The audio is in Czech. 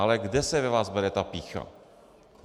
Ale kde se ve vás bere ta pýcha?